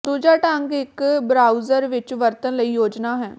ਦੂਜਾ ਢੰਗ ਇੱਕ ਬਰਾਊਜ਼ਰ ਵਿੱਚ ਵਰਤਣ ਲਈ ਯੋਜਨਾ ਹੈ